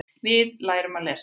Við lærum að lesa.